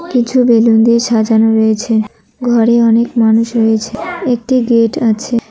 কিছু বেলুন দিয়ে সাজানো রয়েছে ঘরে অনেক মানুষ রয়েছে একটি গেট আছে।